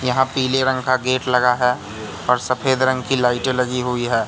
यहां पीले रंग का गेट लगा है और सफेद रंग की लाइटे लगी हुई है।